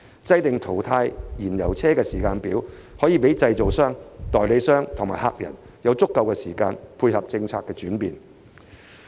制訂淘汰燃油車時間表，可以讓製造商、代理商及駕駛者有足夠時間配合政策轉變。